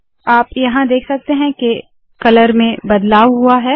आप यहाँ देख सकते है के कलर में बदलाव हुआ है